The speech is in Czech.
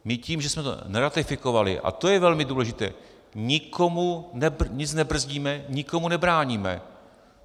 My tím, že jsme to neratifikovali, a to je velmi důležité, nikomu nic nebrzdíme, nikomu nebráníme.